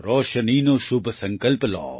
રોશનીનો શુભ સંકલ્પ લો